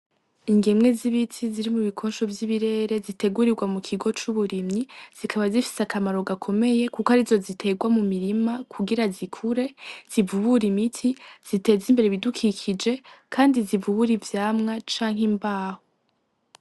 Ingemwe z'ibiti ziri mu bikosho vy'ibirere zitegurirwa mu kigo c'uburimyi, zikaba zifise akamaro gakomeye kuko arizo ziterwa mu mirima kugira zikure zivubure imiti zimeze imbere ibudukikije kandi zivubure ivyamwa canke imbaho.